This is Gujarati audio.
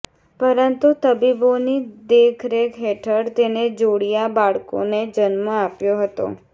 પરંતુ તબીબોની દેખરેખ હેઠળ તેણે જોડીયા બાળકોને જન્મ આપ્યો હતો